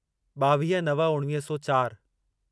ॿावीह नव उणिवीह सौ चारि